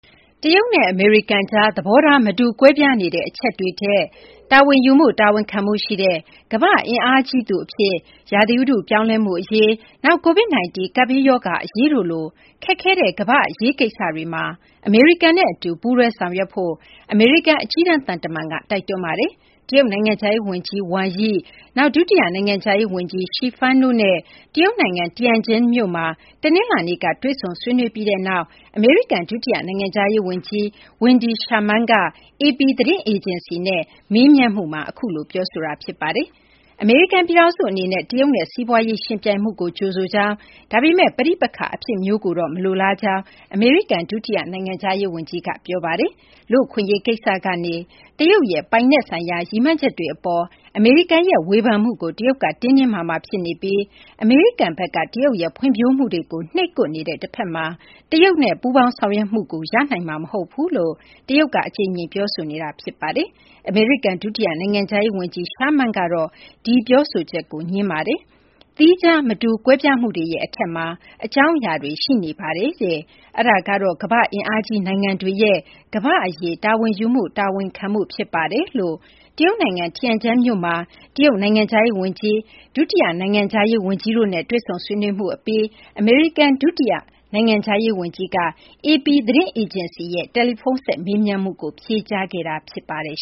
တရုတ်နဲ့ အမေရိကန်ကြား သဘောထား မတူ ကွဲပြားနေတဲ့ အချက်တွေထက် တာဝန်ယူမှု တာဝန်ခံမှုရှိတဲ့ ကမ္ဘာ့ အင်အားကြီးသူ အဖြစ် ရာသီဥတု ပြောင်းလဲမှုအရေး၊ နောက် Covid-19 ကပ်ဘေးရောဂါ အရေးတို့လို ခက်ခဲတဲ့ ကမ္ဘာ့ အရေးကိစ္စတွေမှာ အမေရိကန်နဲ့ အတူ ပူးတွဲ ဆောင်ရွက်ဖို့ အမေရိကန် အကြီးတန်း သံတမန်က တိုက်တွန်းပါတယ်။ တရုတ်နိုင်ငံခြားရေး ဝန်ကြီး Wang Yi ၊ နောက် ဒုတိယ နိုင်ငံခြားရေး ဝန်ကြီး Xie Feng တို့နဲ့ တရုတ်နိုင်ငံ Tianjin မြို့မှာ တနလာၤနေ့က တွေ့ဆုံ ဆွေးနွေးခဲ့ပြီးနောက်မှာ အမေရိကန် ဒုတိယ နိုင်ငံခြားရေး ဝန်ကြီး Wendy Sherman က AP သတင်းအေဂျင်စီနဲ့ တွေ့ဆုံ မေးမြန်းမှုမှာ အခုလို ပြောဆိုတာ ဖြစ်ပါတယ်။ အမေရိကန် ပြည်ထောင်စု အနေနဲ့ တရုတ်နဲ့ စီးပွားရေး ယှဉ်ပြိုင်မှုကို ကြိုဆိုကြောင်း ဒါပေမယ့် ပဋိပက္ခ အဖြစ်မျိုးကိုတော့ မလိုလားကြောင်း အမေရိကန် ဒုတိယ နိုင်ငံခြားရေး ဝန်ကြီးက ပြောပါတယ်။ လူ့အခွင့်အရေး ကိစ္စကနေ တရုတ်ရဲ့ ပိုင်နက်ဆိုင်ရာ ရည်မှန်းချက်တွေ အပေါ် အမေရိကန်ရဲ့ ဝေဖန်မှုကို တရုတ်က တင်းတင်းမာမာ ဖြစ်နေပြီး အမေရိကန်ဘက်က တရုတ်ရဲ့ ဖွံ့ဖြိုးမှုတွေကို နှိပ်ကွက်နေတဲ့ တဖက်မှာ တရုတ်ရဲ့ ပူးပေါင်းဆောင်ရွက်မှုကို ရနိုင်မှာတော့ မဟုတ်ဘူးလို့ တရုတ်က အကြိမ်ကြိမ် ပြောဆိုနေတာ ဖြစ်ပြီး အမေရိကန် ဒုတိယ နိုင်ငံခြားရေး ဝန်ကြီး Sharman က ငြင်းဆိုပါတယ်။ သီးခြား မတူကွဲပြားမှုတွေရဲ့ အထက်မှာ အကြောင်းအရာတွေ ရှိနေပါတယ်။ အဲဒါကတော့ အင်အားကြီး နိုင်ငံတွေရဲ့ ကမ္ဘာ့အရေး တာဝန်ယူမှု တာဝန်ခံမှုဖြစ်ပါတယ်လို့ တရုတ်နိုင်ငံ Tianjin မြို့မှာ တရုတ်နိုင်ငံခြားရေး ဝန်ကြီး၊ ဒုတိယ နိုင်ငံခြားရေး ဝန်ကြီးတို့နဲ့ တွေ့ဆုံ ဆွေးနွေးမှု အပြီးမှာ အမေရိကန် နိုင်ငံခြားရေး ဒုတိယ ဝန်ကြီးက AP သတင်းအေဂျင်စီရဲ့ တယ်လီဖုန်းဆက် မေးမြန်းမှုကို ဖြေကြားခဲ့တာ ဖြစ်ပါတယ်